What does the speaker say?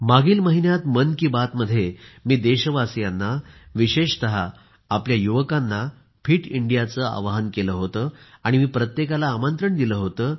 मागील महिन्यात मन की बात मध्ये मी देशवासियांना विशेषतः आपल्या युवकांना फिट इंडियाचे आवाहन केले होते आणि मी प्रत्येकाला आमंत्रण दिले होते